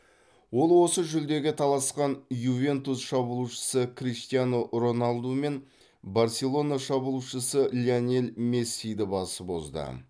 ол осы жүлдеге таласқан ювентус шабуылшысы криштиану роналду мен барселона шабуылшысы лионель мессиді басып озды